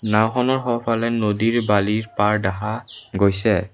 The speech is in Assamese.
নাওখনৰ সোঁফালে নদীৰ বালিৰ পাৰ দেখা গৈছে।